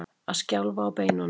Að skjálfa á beinunum